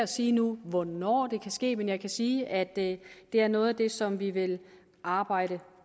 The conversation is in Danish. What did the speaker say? sige hvornår det kan ske men jeg kan sige at det er noget af det som vi vil arbejde